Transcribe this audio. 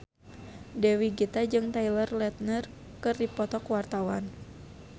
Dewi Gita jeung Taylor Lautner keur dipoto ku wartawan